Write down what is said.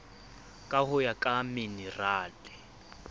ka ho ya ka minerale